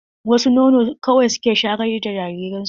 Wasu nono kawai suke shayar da jariran su.